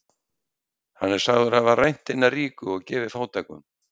Hann er sagður hafa rænt hina ríku og gefið fátækum.